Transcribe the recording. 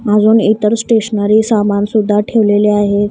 अजून इतर स्टेशनरी सामान सुद्धा ठेवलेले आहे.